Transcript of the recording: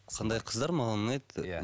қандай қыздар маған ұнайды иә